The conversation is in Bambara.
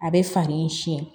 A bɛ falen siɲɛ